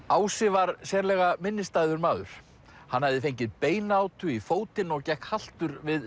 ási var sérlega minnisstæður maður hann hafði fengið beinátu í fótinn og gekk haltur við